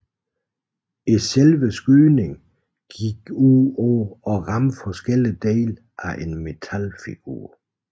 Selve skydningen gik ud på at ramme forskellige dele af en metalfigur